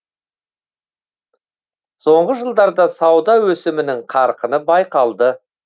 соңғы жылдарда сауда өсімінің қарқыны байқалды